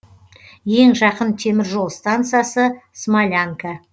ең жақын темір жол станциясы смолянка